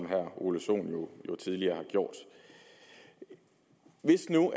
herre ole sohn jo tidligere har gjort hvis nu